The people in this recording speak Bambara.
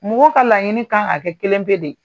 Mɔgɔw ka laɲini kan ka kɛ kelen pe de ye.